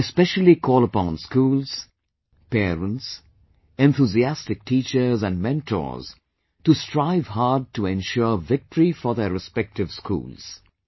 I specially call upon schools, parents, enthusiastic teachers & mentors to strive hard to ensure victory for their respective schools